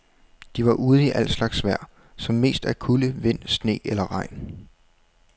De var ude i al slags vejr, som mest er kulde, vind, sne, eller regn.